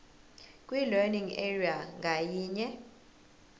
kwilearning area ngayinye